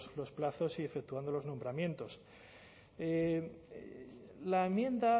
los plazos y efectuando los nombramientos la enmienda